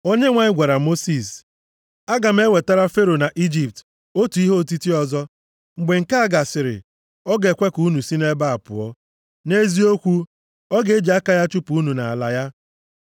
Onyenwe anyị gwara Mosis, “Aga m ewetara Fero na Ijipt otu ihe otiti ọzọ. Mgbe nke a gasịrị, ọ ga-ekwe ka unu si nʼebe a pụọ. Nʼeziokwu, ọ ga-eji aka ya chụpụ unu nʼala ya.